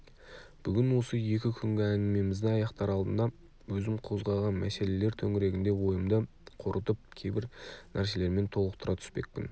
бүгін осы екі күнгі әңгімемізді аяқтар алдында өзім қозғаған мәселелер төңірегінде ойымды қорытып кейбір нәрселермен толықтыра түспекпін